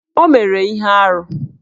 O mere ihe arụ